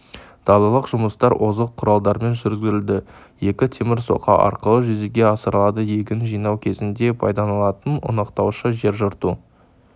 далалық жұмыстар озық құралдармен жүргізілді екі темір соқа арқылы жүзеге асырылады егін жинау кезінде пайдаланылатын ұнтақтаушы жер жырту